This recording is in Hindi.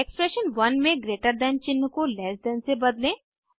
एक्सप्रेशन 1 में ग्रेटर दैन चिन्ह को लैस दैन से बदलें